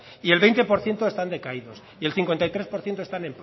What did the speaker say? y el veinte por ciento están decaídos y el cincuenta y tres por ciento está